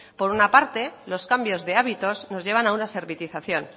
por una parte los cambios de hábitos nos llevan a una servitización